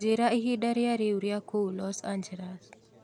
njĩĩraĩhĩnda rĩa riu kũũ los angels